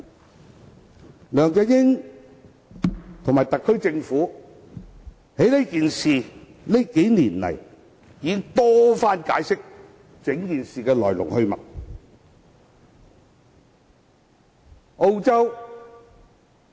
這數年來，梁振英和特區政府已多番解釋此事的來龍去脈。